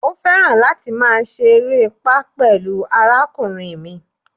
Ó̩ fẹran láti ma seeré pá pẹ̀lú àrákúnriń mí.